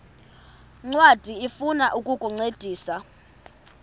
ncwadi ifuna ukukuncedisa